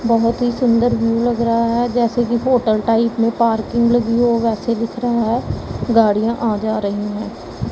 बहुत ही सुंदर व्यू लग रहा है जैसे कि होटल टाइप में पार्किंग लगी हो वैसे दिख रहा है गाड़ियां आ जा रही हैं।